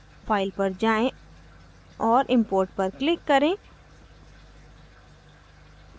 file पर जाएँ और import पर click करें